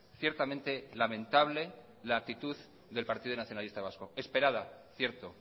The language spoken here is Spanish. ciertamente lamentable la actitud del partido nacionalista vasco esperada cierto